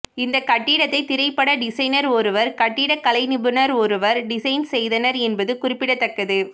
இந்த கட்டிடத்தை திரைப்பட டிசைனர் ஒருவரும் கட்டிட கலை நிபுணர் ஒருவரும் டிசைன் செய்தனர் என்பது குறிப்பிடத்தக்கது